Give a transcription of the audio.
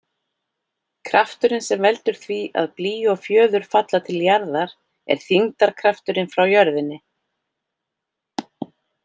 Krafturinn sem veldur því að blý og fjöður falla til jarðar er þyngdarkrafturinn frá jörðinni.